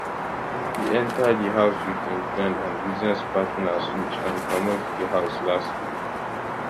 e enta di house wit im friend and business partner sooj and comot di house last week